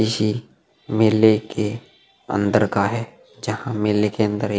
ईशी मेले के अंदर का है जहां मेले के अंदर एक --